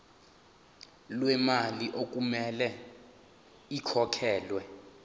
lemali okumele ikhokhelwe